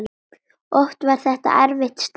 Oft var það erfitt starf.